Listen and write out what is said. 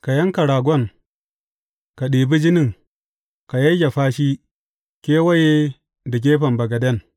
Ka yanka ragon, ka ɗibi jinin, ka yayyafa shi kewaye da gefen bagaden.